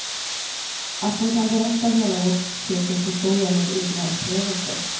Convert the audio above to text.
Att hon kan berätta hela vårt sekels historia med egna upplevelser.